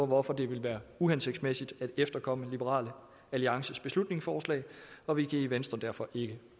hvorfor det vil være uhensigtsmæssig at efterkomme liberal alliances beslutningsforslag og vi kan i venstre derfor ikke